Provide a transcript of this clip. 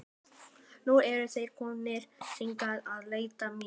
Núna eru þeir komnir hingað að leita mín.